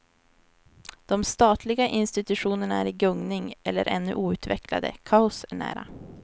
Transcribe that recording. De statliga institutionerna är i gungning eller ännu outvecklade, kaos är nära.